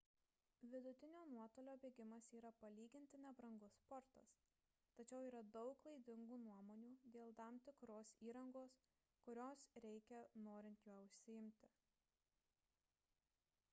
vidutinio nuotolio bėgimas yra palyginti nebrangus sportas tačiau yra daug klaidingų nuomonių dėl tam tikros įrangos kurios reikia norint juo užsiimti